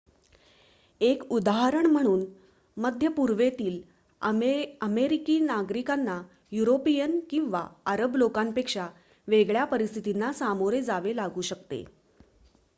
एक उदाहरण म्हणून मध्य पूर्वेतील अमेरिकी नागरिकांना युरोपिअन किंवा अरब लोकांपेक्षा वेगळ्या परिस्थितींना सामोरे जावे लागू शकते